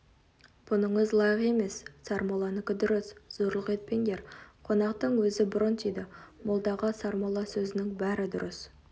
бұныңыз лайық емес сармолланікі дұрыс зорлық етпеңдер қонақтың өзі бұрын тиді молдаға сармолла сөзінің бәрі дұрыс